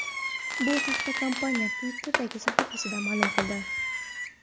Bu haqda Kompaniya Twitter’dagi sahifasida ma’lum qildi .